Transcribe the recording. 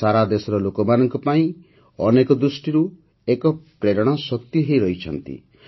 ସେ ସାରା ଦେଶର ଲୋକମାନଙ୍କ ପାଇଁ ଅନେକ ଦୃଷ୍ଟିରୁ ଏକ ପ୍ରେରଣାଶକ୍ତି ହୋଇ ରହିଛନ୍ତି